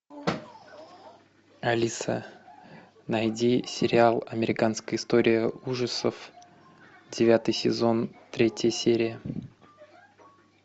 алиса найди сериал американская история ужасов девятый сезон третья серия